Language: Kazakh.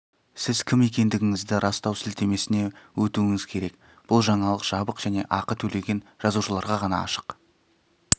сіз кім екендігіңізді растау сілтемесіне өтуіңіз керек бұл жаңалық жабық және ақы төлеген жазылушыларға ғана ашық